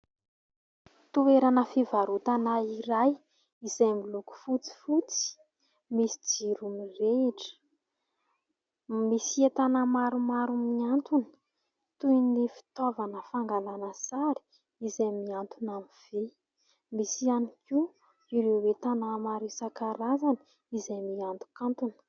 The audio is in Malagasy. Toerana fivarotana iray izay miloko fotsifotsy misy jiro mirehitra. Misy entana maromaro mihantona toy ny fitaovana fangalana sary izay mihantona amin'ny vy. Misy ihany koa ireo entana maro isan-karazany izay mihantonkantona.